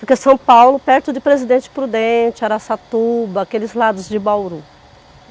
Fica em São Paulo, perto de Presidente Prudente, Araçatuba, aqueles lados de Bauru.